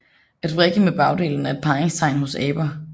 At vrikke med bagdelen er et parringstegn hos aber